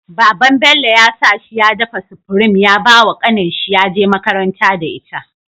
Baban Bello yasa shi ya dafa supreme ya bawa kanin shi yaje makaranta da ita